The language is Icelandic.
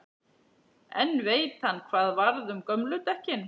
En veit hann hvað varð um gömlu dekkin?